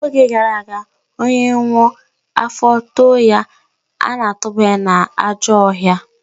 Oge gara aga, onye nwụọ, afọ too ya, ana-atụbanye n'ajọ ọhịa